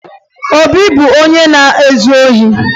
Obi bụ onye na-ezu ohi